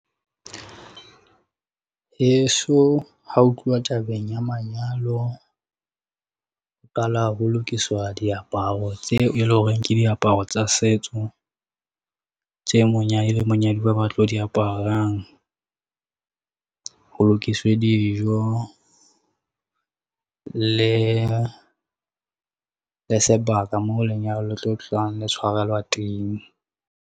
Heso ha ho tluwa tabeng ya manyalo, ho kala ho lokiswa diaparo tseo eleng horeng ke diaparo tsa setso tse monyadi le monyaduwa ba tlo di aparang. Ho lokiswe dijo, le sebaka moo lenyalo le tlo tlang, le tshwarelwa teng.